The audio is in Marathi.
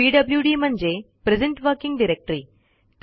पीडब्ल्यूडी म्हणजे प्रेझेंट वर्किंग डायरेक्टरी